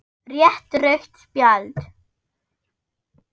Rétt rautt spjald?